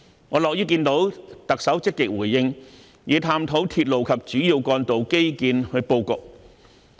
我樂於看到特首積極回應與探討鐵路及主要幹道的基建布局。